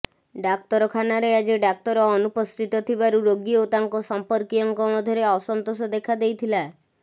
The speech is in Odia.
ଡାକ୍ତରଖାନାରେ ଆଜି ଡାକ୍ତର ଅନୁପସ୍ଥିତ ଥିବାରୁ ରୋଗୀ ଓ ତାଙ୍କ ସମ୍ପର୍କୀୟଙ୍କ ମଧ୍ୟରେ ଅସନ୍ତୋଷ ଦେଖାଦେଇଥିଲା